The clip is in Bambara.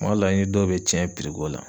Ma dɔ la i ni dɔw be cɛn ko la